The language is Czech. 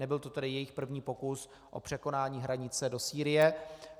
Nebyl to tedy jejich první pokus o překonání hranice do Sýrie.